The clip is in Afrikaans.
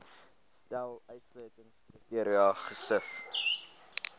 stel uitsluitingskriteria gesif